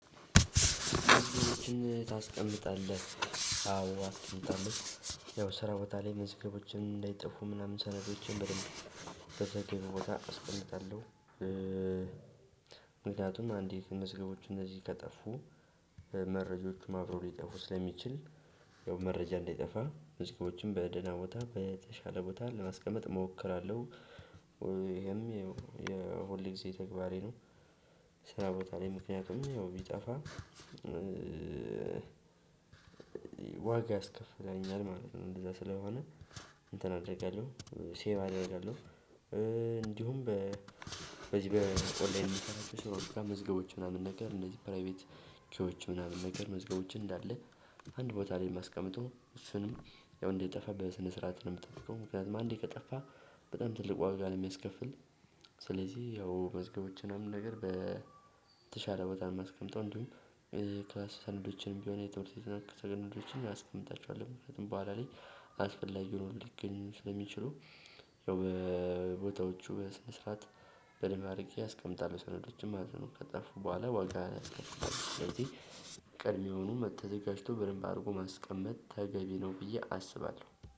ታስቀምጣለህ አዎ አስቀምጣለሁ። ያው ስራ ቦታ ላይ መዝገቦችን እንዳይጠፉ ምናምን ሰነዶችን በደንብ በተገቢው ቦታ አስቀምጣለሁ። ምክንያቱም አንዲት መዝገቦች እነዚህ ከጠፉ መረጃዎቹም አብረው ሊጠፉ ስለሚችል ያው መረጃ እንዳይጠፋ ዝግጅቶችም በደህና ቦታ በተሻለ ቦታ ለማስቀመጥ እሞክራለሁ። ይሄም የሁል ጊዜ ተግባሬ ነው። ስራ ቦታ ላይ ምክንያቱም ያው ቢጠፋ ዋጋ ያስከፍለኛል ማለት ነው። እንደዛ ስለሆነ እንትን አደርጋለሁ ሴቭ አደርጋለሁ። እንዲሁም በዚህ በኦንላይን በምሰራዎች ስራዎች ጋ መዝገቦች ምናምን ነገር እነዚህ ፕራይቬት ኪዎች ምናምን ነገር መዝገቦችን እንዳለ አንድ ቦታ ላይ የማስቀምጠው እሱን ያው እንዳይጠፋ በስነ ስርዓት ነው የምጠፍቀው ምክንያቱም አንዴ ከጠፋ በጣም ትልቅ ዋጋ ነው የሚያስከፍል። ስለዚህ ያው መዝገቦችን አምነው ነገር በተሻለ ቦታ ነው የማስቀመጠው። እንዲሁም። ሰነዶችንም ቢሆን የትምህርት ቤት ነክ ሰነዶችንም አስቀምጣቸዋለሁ ምክንያቱም በኋላ ላይ አስፈላጊ ሆኖ ሊገኝ ስለሚችሉ። ያው ቦታዎቹ በስነ ስርዓት በደምብ አድርጌ አስቀምጣለሁ ሰነዶችን ማለት ነው። ከጠፉ በኋላ ዋጋህን ያስከፍሉሀል ስለዚህ ቀድሜውኑ ተዘጋጅቶ በደንብ አድርጎ ማስቀመጥ ተገቢ ነው ብዬ አስባለሁ